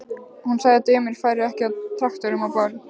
Hún sagði að dömur færu ekki á traktorum á böll.